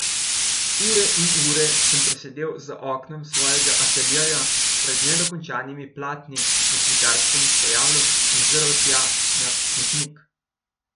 Ure in ure sem presedel za oknom svojega ateljeja pred nedokončanimi platni na slikarskem stojalu in zrl tja na Snežnik.